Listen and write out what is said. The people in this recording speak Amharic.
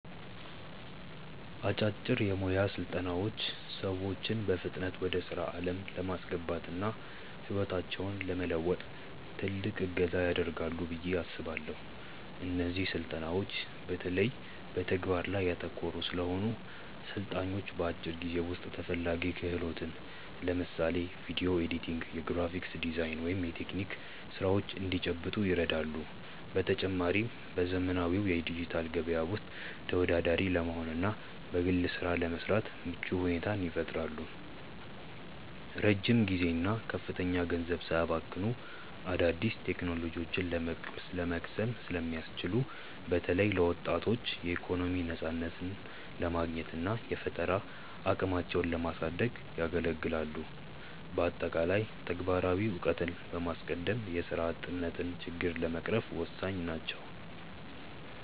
አጫጭር የሞያ ስልጠናዎች ሰዎችን በፍጥነት ወደ ስራ ዓለም ለማስገባትና ህይወታቸውን ለመለወጥ ትልቅ እገዛ ያደርጋሉ ብዬ አስባለው። እነዚህ ስልጠናዎች በተለይ በተግባር ላይ ያተኮሩ ስለሆኑ፣ ሰልጣኞች በአጭር ጊዜ ውስጥ ተፈላጊ ክህሎትን (ለምሳሌ ቪዲዮ ኤዲቲንግ፣ የግራፊክ ዲዛይን ወይም የቴክኒክ ስራዎች) እንዲጨብጡ ይረዳሉ። በተጨማሪም፣ በዘመናዊው የዲጂታል ገበያ ውስጥ ተወዳዳሪ ለመሆንና በግል ስራ ለመሰማራት ምቹ ሁኔታን ይፈጥራሉ። ረጅም ጊዜና ከፍተኛ ገንዘብ ሳያባክኑ አዳዲስ ቴክኖሎጂዎችን ለመቅሰም ስለሚያስችሉ፣ በተለይ ለወጣቶች የኢኮኖሚ ነፃነትን ለማግኘትና የፈጠራ አቅማቸውን ለማሳደግ ያገለግላሉ። በአጠቃላይ፣ ተግባራዊ እውቀትን በማስቀደም የስራ አጥነትን ችግር ለመቅረፍ ወሳኝ ናቸው።